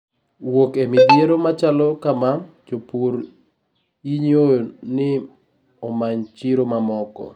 Wuok ei midhiero machalo kamaa, jopur inyio ni omany chiro mamoko